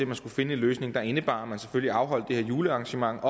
man skulle finde en løsning der indebar at man selvfølgelig afholdt det her julearrangement op